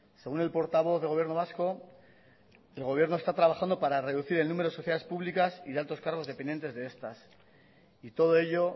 según el portavoz del gobierno vasco el gobierno está trabajando para reducir el número de sociedades públicas y de altos cargos dependientes de estas y todo ello